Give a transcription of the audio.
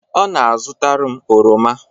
ọ na-azụtara m oroma